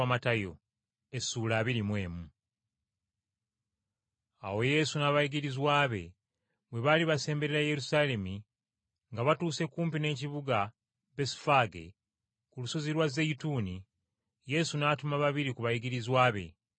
Awo Yesu n’abayigirizwa be bwe baali basemberera Yerusaalemi nga batuuse kumpi n’ekibuga Besufaage ku lusozi lwa Zeyituuni, Yesu n’atuma babiri ku bayigirizwa be.